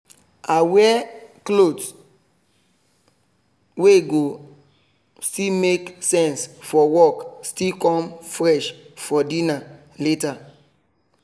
i wear something wey go still make sense fo work still come fresh for dinner later